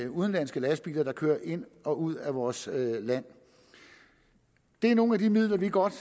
udenlandske lastbiler der kører ind og ud af vores land det er nogle af de midler vi godt